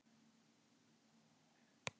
Niðurstaða: Snælda er spendýr.